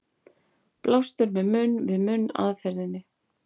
Blástur með munn-við-munn aðferðinni.